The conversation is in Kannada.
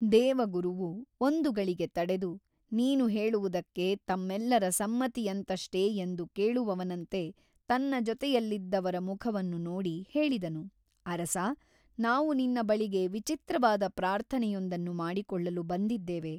ದೇವಗುರುವು ಒಂದು ಗಳಿಗೆ ತಡೆದು ನೀನು ಹೇಳುವುದಕ್ಕೆ ತಮ್ಮೆಲ್ಲರ ಸಮ್ಮತಿಯುಂಟಷ್ಟೇ ಎಂದು ಕೇಳುವವನಂತೆ ತನ್ನ ಜೊತೆಯಲ್ಲಿದ್ದವರ ಮುಖವನ್ನು ನೋಡಿ ಹೇಳಿದನು ಅರಸಾ ನಾವು ನಿನ್ನ ಬಳಿಗೆ ವಿಚಿತ್ರವಾದ ಪ್ರಾರ್ಥನೆಯೊಂದನ್ನು ಮಾಡಿಕೊಳ್ಳಲು ಬಂದಿದ್ದೇವೆ.